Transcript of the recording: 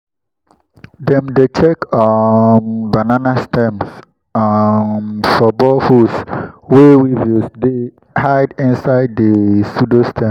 dem dey check um banana stems um for boreholes wey weevils dey hide inside the pseudostem.